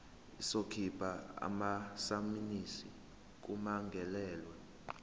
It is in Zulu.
izokhipha amasamanisi kummangalelwa